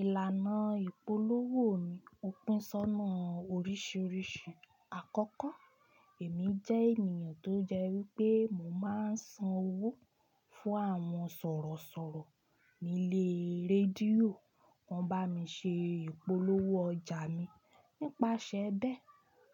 Ìlànà ìpolówó mi ò pín sónà oríṣìíríṣìí. Àkọ́kọ́, èmi jẹ́ ènìyàn tó jẹ́ wípé mo máa ń san owó fún àwọn sọ̀rọ̀sọ̀rọ̀ nílé rédíò, wọ́n bá mi ṣe ìpolówó ọjà mi. Àkọ́kọ́, èmi jẹ́ ènìyàn tó jẹ́ wípé